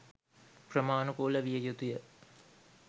ක්‍රමාණුකූල විය යුතුය